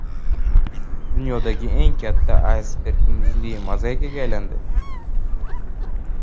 Dunyodagi eng katta aysberg muzli mozaikaga aylandi .